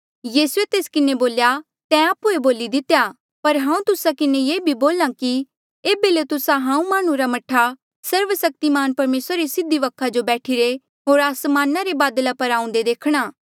यीसूए तेस किन्हें बोल्या तैं आप्हुए बोली दितेया पर हांऊँ तुस्सा किन्हें ये भी बोल्हा कि एेबे ले तुस्सा हांऊँ माह्णुं रा मह्ठा सर्वसक्तिमान परमेसरा रे सीधी वखा जो बैठिरे होर आसमाना रे बादला पर आऊंदे देखणा